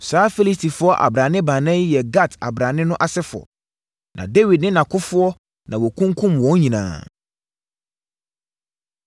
Saa Filistifoɔ abrane baanan yi yɛ Gat abrane no asefoɔ. Na Dawid ne nʼakofoɔ na wɔkunkumm wɔn nyinaa.